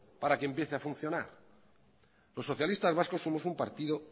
para que empiece a funcionar los socialistas vascos somos un partido